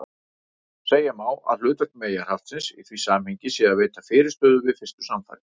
Segja má að hlutverk meyjarhaftsins í því samhengi sé að veita fyrirstöðu við fyrstu samfarir.